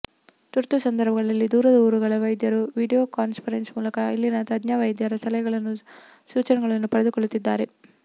ತುರ್ತು ಸಂದರ್ಭಗಳಲ್ಲಿ ದೂರದ ಊರುಗಳ ವೈದ್ಯರು ವಿಡಿಯೋ ಕಾನ್ಫರೆನ್ಸ್ ಮೂಲಕ ಇಲ್ಲಿನ ತಜ್ಞ ವೈದ್ಯರ ಸಲಹೆ ಸೂಚನೆಗಳನ್ನು ಪಡೆದುಕೊಳ್ಳುತ್ತಿದ್ದಾರೆ